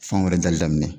Fɛn wɛrɛ dali daminɛ